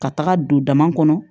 Ka taga don dama kɔnɔ